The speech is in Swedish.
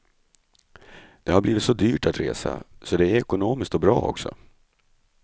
Det har blivit så dyrt att resa, så det är ju ekonomiskt och bra också.